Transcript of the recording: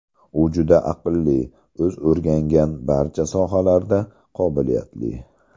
U juda aqlli, o‘zi o‘rgangan barcha sohalarda qobiliyatli.